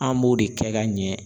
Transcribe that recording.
An b'o de kɛ ka ɲɛ.